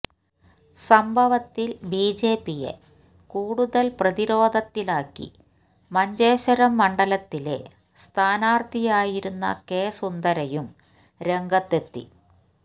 സംഭവത്തില് ബിജെപിയെ കൂടുതല് പ്രതിരോധത്തിലാക്കി മഞ്ചേശ്വരം മണ്ഡലത്തിലെ സ്ഥാനാര്ഥിയായിരുന്ന കെ സുന്ദരയും രംഗത്തെത്തി